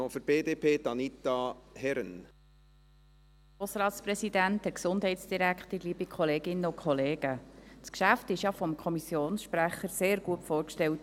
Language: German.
Das Geschäft wurde vom Kommissionssprecher ja sehr gut vorgestellt.